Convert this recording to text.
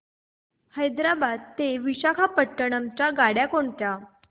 हैदराबाद ते विशाखापट्ण्णम च्या गाड्या कोणत्या